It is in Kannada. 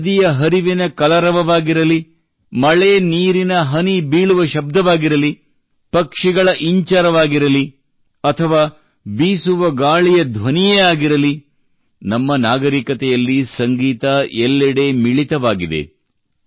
ಅದು ನದಿಯ ಹರಿವಿನ ಕಲರವವಾಗಿರಲಿ ಮಳೆ ನೀರಿನ ಹನಿ ಬೀಳುವ ಶಬ್ದವಾಗಿರಲಿ ಪಕ್ಷಿಗಳ ಇಂಚರವಾಗಿರಲಿ ಅಥವಾ ಬೀಸುವ ಗಾಳಿಯ ಧ್ವನಿಯೇ ಆಗಿರಲಿ ನಮ್ಮ ನಾಗರಿಕತೆಯಲ್ಲಿ ಸಂಗೀತ ಎಲ್ಲೆಡೆ ಮಿಳಿತವಾಗಿದೆ